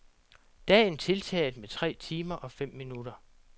Dagen tiltaget med tre timer og fem minutter.